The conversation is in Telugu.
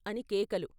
' అని కేకలు.